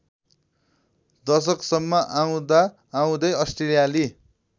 दशकसम्म आउँदाआउँदै अस्ट्रेलियाली